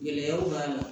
Gɛlɛyaw b'a la